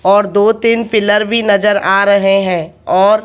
और दो तीन पिलर भी नजर आ रहे हैं और--